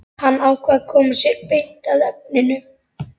Hann ákveður að koma sér beint að efninu.